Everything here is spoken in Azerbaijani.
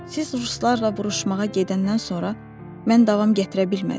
Siz ruslarla vuruşmağa gedəndən sonra mən davam gətirə bilmədim.